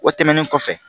O tɛmɛnen kɔfɛ